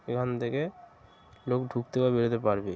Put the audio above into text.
এখান থেকে লোক ঢুকতে বা বেরোতে পারবে |